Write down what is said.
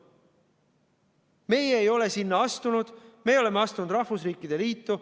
Meie ei ole sinna astunud, me oleme astunud rahvusriikide liitu.